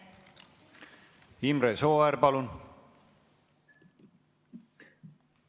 Imre Sooäär, palun!